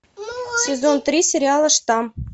сезон три сериала штамм